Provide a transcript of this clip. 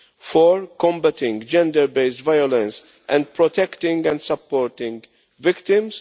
4 combating gender based violence and protecting and supporting victims